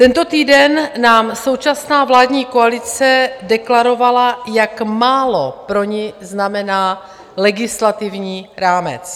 Tento týden nám současná vládní koalice deklarovala, jak málo pro ni znamená legislativní rámec.